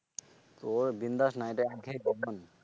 তো বিন্দ্যাস